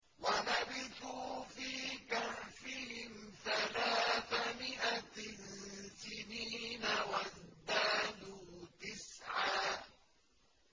وَلَبِثُوا فِي كَهْفِهِمْ ثَلَاثَ مِائَةٍ سِنِينَ وَازْدَادُوا تِسْعًا